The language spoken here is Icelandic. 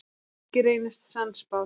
Helgi reynist sannspár.